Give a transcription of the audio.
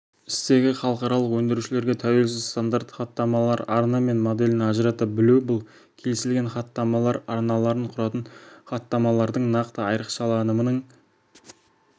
стегі халықаралық өндірушілерге тәуелсіз стандарт хаттамалар арна мен моделін ажырата білу бұл келісілген хаттамалар арналарын құратын хаттамалардың нақты айрықшаланымының